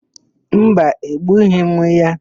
Mba, egbughị m ya.